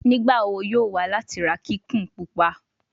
Nigbawo yoo wa lati ra kikun pupa